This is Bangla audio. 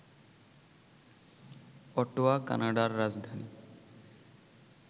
অটোয়া কানাডার রাজধানী